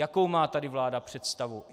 Jakou má vláda tady představu?